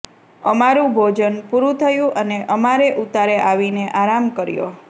અમારૂ ભોજન પુરૂ થયુ અને અમારે ઉતારે આવીને આરામ કર્યો